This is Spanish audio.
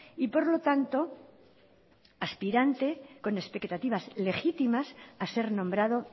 y por lo tanto aspirante con expectativas legítimas a ser nombrado